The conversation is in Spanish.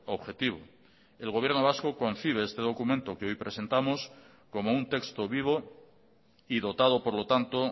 objetivo el gobierno vasco concibe este documento que hoy presentamos como un texto vivo y dotado por lo tanto